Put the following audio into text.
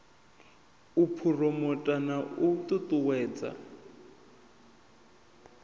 u phuromotha na u ṱuṱuwedza